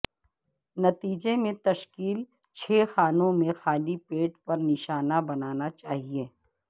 نتیجے میں تشکیل چھ خاکوں میں خالی پیٹ پر نشانہ بنانا چاہئے